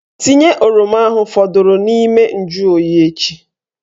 Tinye oroma ahụ fọdụrụ n'ime njuoyi echi!